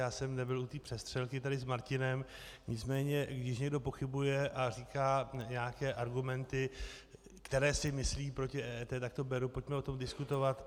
Já jsem nebyl u té přestřelky tady s Martinem, nicméně když někdo pochybuje a říká nějaké argumenty, které si myslí, proti EET, tak to beru, pojďme o tom diskutovat.